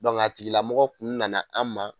Dɔnkea tigilamɔgɔ kun nana an ma